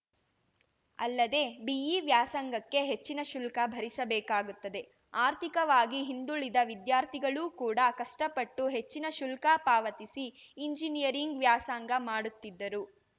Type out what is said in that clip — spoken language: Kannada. ಅಲ್ಲದೆ ಬಿಇ ವ್ಯಾಸಂಗಕ್ಕೆ ಹೆಚ್ಚಿನ ಶುಲ್ಕ ಭರಿಸಬೇಕಾಗುತ್ತದೆ ಆರ್ಥಿಕವಾಗಿ ಹಿಂದುಳಿದ ವಿದ್ಯಾರ್ಥಿಗಳು ಕೂಡ ಕಷ್ಟಪಟ್ಟು ಹೆಚ್ಚಿನ ಶುಲ್ಕ ಪಾವತಿಸಿ ಇಂಜಿನಿಯರಿಂಗ್‌ ವ್ಯಾಸಂಗ ಮಾಡುತ್ತಿದ್ದರು